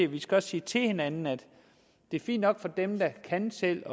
vi skal også sige til hinanden at det er fint nok for dem der kan selv